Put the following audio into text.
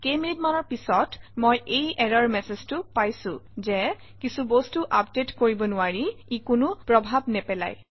কেইমিনিটমানৰ পিছত মই এই এৰৰ মেচেজটো পাইছোঁ যে কিছু বস্তু আপডেট কৰিব নোৱাৰি ই কোনো প্ৰভাৱ নেপেলায়